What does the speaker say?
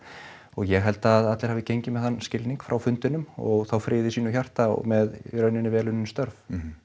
ég held að allir hafi gengið með þann skilning frá fundinum og þá frið í sínu hjarta og með í raun vel unnin störf